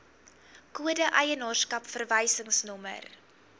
kode eienaarskap verwysingsnommer